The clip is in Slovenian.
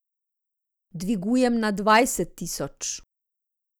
Dvigujem na dvajset tisoč.